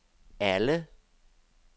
alle